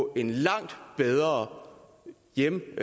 en langt bedre hjemkomst